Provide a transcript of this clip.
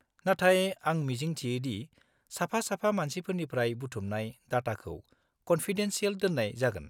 नाथाय आं मिजिं थियो दि साफा-साफा मानसिफोरनिफ्राय बुथुमनाय डाटाखौ कन्फिडेन्सियेल दोननाय जागोन?